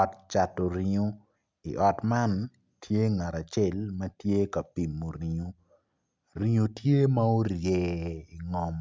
Ot cato ringo iot man tye ngat acel ma tye ka pimo ringo ringo tye ma orye ingom